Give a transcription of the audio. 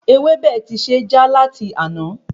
Ewebẹ tí se já lati àná